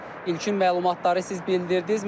Bəli, ilkin məlumatları siz bildirdiniz.